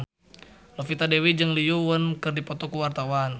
Novita Dewi jeung Lee Yo Won keur dipoto ku wartawan